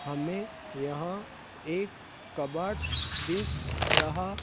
हमें यहां एक कबर्ड दिख रहा--